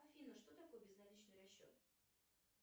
афина что такое безналичный расчет